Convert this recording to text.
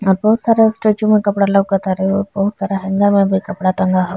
यहाँ बहुत सारे स्टैचू में कपड़ा लउकतारे और बहुत सारा हैंगर में भी कपड़ा टांग हउ।